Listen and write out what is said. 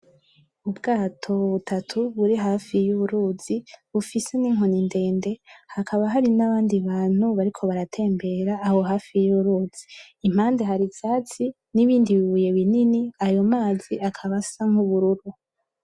Ubwato butatu buri hafi y'uruzi bufise n'inkoni ndende hakaba hari n'abandi bantu bariko baratembera aho hafi y'uruzi impande hari ivyatsi n'ibindi bibuye binini ayo mazi akaba asa nk'ubururu.